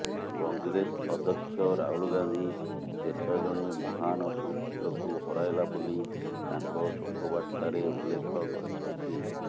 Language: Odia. କଂଗ୍ରେସ ଅଧ୍ୟକ୍ଷ ରାହୁଲ ଗାନ୍ଧି ଦେଶ ଜଣେ ମହାନ ସୁପୁତ୍ରକୁ ହରାଇଲା ବୋଲି ତାଙ୍କ ଶୋକବାର୍ତ୍ତାରେ ଉଲ୍ଲେଖ କରିଛନ୍ତି